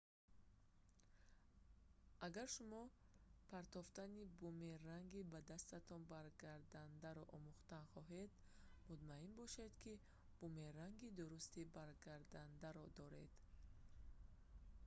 агар шумо партофтани бумеранги ба дастатон баргардандаро омӯхтан хоҳед мутмаъин бошед ки бумеранги дурусти баргардандаро доред